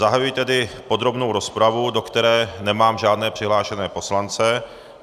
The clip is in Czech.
Zahajuji tedy podrobnou rozpravu, do které nemám žádné přihlášené poslance.